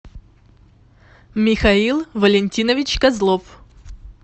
михаил валентинович козлов